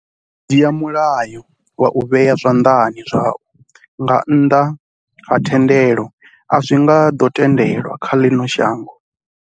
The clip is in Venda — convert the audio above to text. U dzhia mulayo wa u vhea zwanḓani zwau nga nnḓa ha thendelo a zwi nga ḓo tendelwa kha ḽino shango.